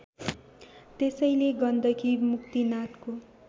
त्यसैले गण्डकी मुक्तिनाथको